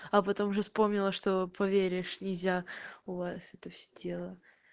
а потом уже вспомнила что поверишь нельзя у вас это все тело